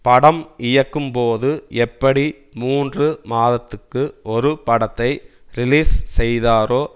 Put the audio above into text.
படம் இயக்கும்போது எப்படி மூன்று மாதத்துக்கு ஒரு படத்தை ரிலீஸ் செய்தாரோ